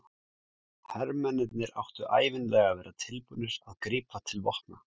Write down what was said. Hermennirnir áttu ævinlega að vera tilbúnir að grípa til vopna.